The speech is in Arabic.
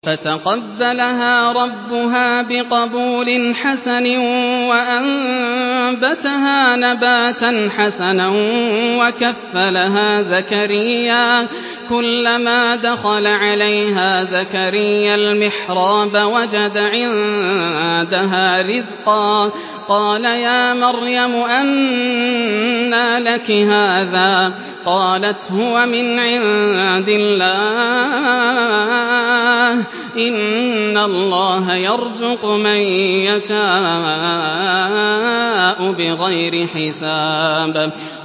فَتَقَبَّلَهَا رَبُّهَا بِقَبُولٍ حَسَنٍ وَأَنبَتَهَا نَبَاتًا حَسَنًا وَكَفَّلَهَا زَكَرِيَّا ۖ كُلَّمَا دَخَلَ عَلَيْهَا زَكَرِيَّا الْمِحْرَابَ وَجَدَ عِندَهَا رِزْقًا ۖ قَالَ يَا مَرْيَمُ أَنَّىٰ لَكِ هَٰذَا ۖ قَالَتْ هُوَ مِنْ عِندِ اللَّهِ ۖ إِنَّ اللَّهَ يَرْزُقُ مَن يَشَاءُ بِغَيْرِ حِسَابٍ